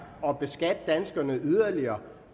at beskatte danskerne yderligere